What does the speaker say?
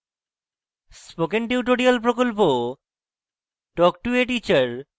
spoken tutorial প্রকল্প talk to a teacher প্রকল্পের অংশবিশেষ